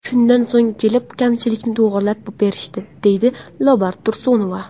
Shundan so‘ng kelib, kamchilikni to‘g‘irlab berishdi”, deydi Lobar Tursunova.